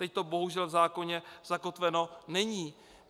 Teď to bohužel v zákoně zakotveno není.